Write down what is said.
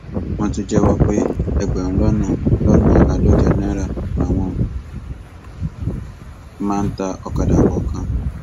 wọn tún jẹwọ pé ẹgbẹrún lọnà lọnà àádọjọ náírà làwọn máa ń ta ọkadà kọọkan